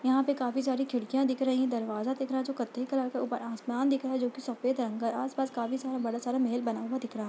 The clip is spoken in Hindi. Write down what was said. यहाँ पे काफी सारी खिड़कियां दिख रही है दरवाजा दिख रहा जो कथई कलर का है ऊपर आसमान दिख रहा है जोकि सफ़ेद रंग का है आसपास काफी सारा बड़ा सारा महल बना हुआ दिख रहा है।